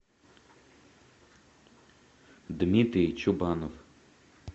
дмитрий чубанов